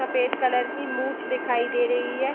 सफ़ेद कलर की मूंछ दिखाई दे रही है।